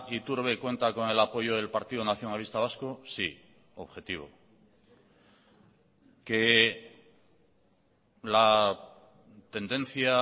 iturbe cuenta con el apoyo del partido nacionalista vasco sí objetivo que la tendencia